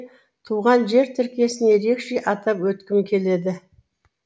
туған жер тіркесін ерекше атап өткім келеді